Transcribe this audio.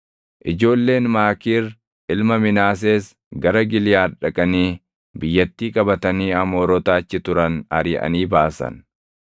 Ijoolleen Maakiir ilma Minaasees gara Giliʼaad dhaqanii biyyattii qabatanii Amoorota achi turan ariʼanii baasan.